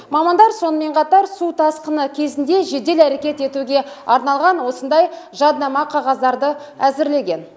мамандар сонымен қатар су тасқыны кезінде жедел әрекет етуге арналған осындай жадынама қағаздарды әзірлеген